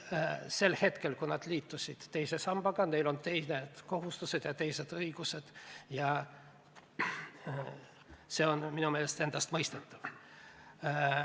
Sel hetkel, kui nad liitusid teise sambaga, neil olid teised kohustused ja teised õigused, ja see on minu meelest endastmõistetav.